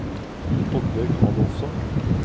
Oddbjørg Adolfsen